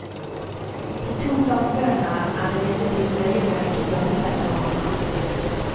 De to samfunnene er imidlertid nøye med ikke å blande seg med hverandre.